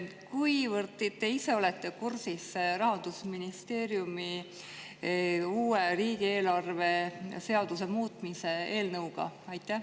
Kuivõrd olete te ise kursis Rahandusministeeriumi uue riigieelarve seaduse muutmise eelnõuga?